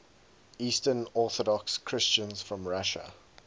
eastern orthodox christians from russia